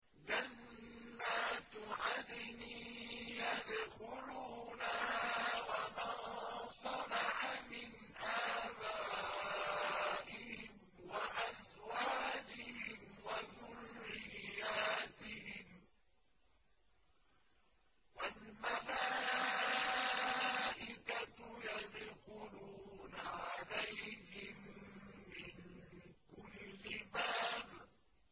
جَنَّاتُ عَدْنٍ يَدْخُلُونَهَا وَمَن صَلَحَ مِنْ آبَائِهِمْ وَأَزْوَاجِهِمْ وَذُرِّيَّاتِهِمْ ۖ وَالْمَلَائِكَةُ يَدْخُلُونَ عَلَيْهِم مِّن كُلِّ بَابٍ